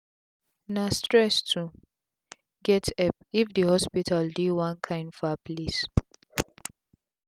na stress to get epp if d hospital dey one kain far place